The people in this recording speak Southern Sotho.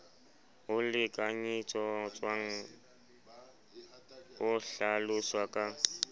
o lekanyetswang o hlaloswa ka